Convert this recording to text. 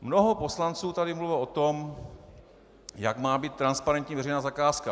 Mnoho poslanců tady mluvilo o tom, jak má být transparentní veřejná zakázka.